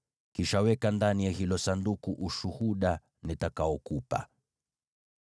Kisha weka ndani ya hilo Sanduku ule Ushuhuda nitakaokupa.